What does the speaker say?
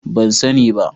Ban sani ba.